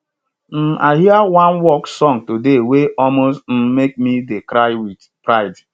um i hear one work song today wey almost um make me dey cry wit pride